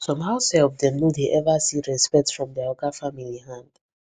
some househelp dem no dey ever see respect from dia oga family hand